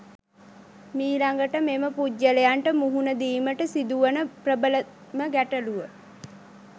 මීළඟට මෙම පුද්ගලයන්ට මුහුණ දීමට සිදුවන ප්‍රබලම ගැටලුව